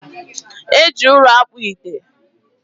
e ji ụrọ akpụ ite.